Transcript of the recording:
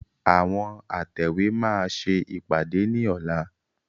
Àwọn atẹ̀wé máa ṣe ìpàdé ni ọ̀la.